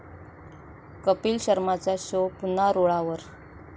कपिल शर्माचा शो पुन्हा रुळावर